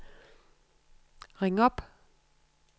ring op